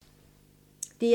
DR1